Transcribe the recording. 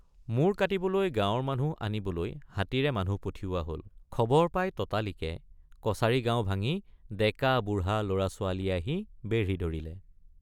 মূৰ কাটিবলৈ গাঁৱৰ মানুহ আনিবলৈ হাতীৰে মানুহ পঠিওৱা হল খবৰ পাই ততালিকে কছাৰী গাঁও ভাঙি ডেকাবুঢ়৷ লৰা ছোৱালীয়ে আহি বেঢ়ি ধৰিলে।